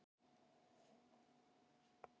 Það er ljómandi gott!